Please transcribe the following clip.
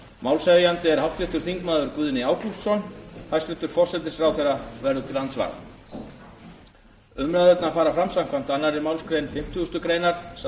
málshefjandi er háttvirtur þingmaður guðni ágústsson hæstvirtur forsætisráðherra verður til andsvara umræðurnar fara fram samkvæmt annarri málsgrein fimmtíu greinar samanber